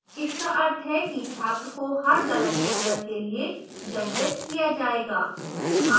इसका अर्थ है कि छात्र को हर गलत उत्तर के लिए दंडित किया जाएगा